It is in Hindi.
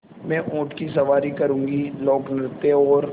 मैं ऊँट की सवारी करूँगी लोकनृत्य और